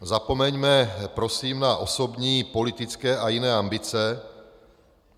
Zapomeňme prosím na osobní, politické a jiné ambice.